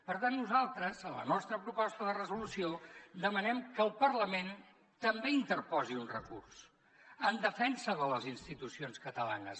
per tant nosaltres en la nostra proposta de resolució demanem que el parlament també interposi un recurs en defensa de les institucions catalanes